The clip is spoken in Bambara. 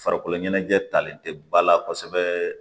Farikolo ɲɛnajɛ talen tɛ ba la kosɛbɛ